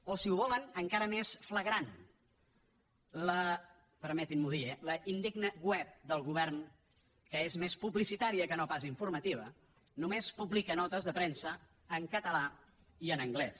o si ho volen encara més flagrant la permetin m’ho dir eh indigna web del govern que és més publicitària que no pas informativa només publica notes de premsa en català i en anglès